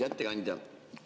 Hea ettekandja!